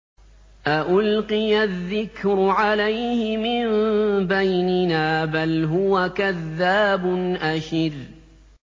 أَأُلْقِيَ الذِّكْرُ عَلَيْهِ مِن بَيْنِنَا بَلْ هُوَ كَذَّابٌ أَشِرٌ